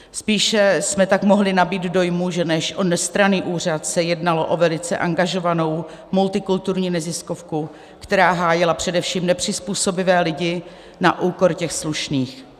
Spíše jsme tak mohli nabýt dojmu, že než o nestranný úřad se jednalo o velice angažovanou multikulturní neziskovku, která hájila především nepřizpůsobivé lidí na úkor těch slušných.